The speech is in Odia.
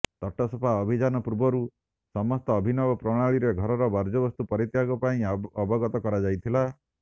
ତଟସଫା ଅଭିଯାନ ପୂର୍ବରୁ ସମସ୍ତଙ୍କୁ ଅଭିନବ ପ୍ରଣାଳୀରେ ଘରର ବର୍ଜ୍ୟବସ୍ତୁ ପରିତ୍ୟାଗ ପାଇଁ ଅବଗତ କରାଯାଇଥିଲା